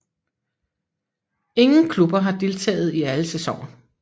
Ingen klubber har deltaget i alle sæsoner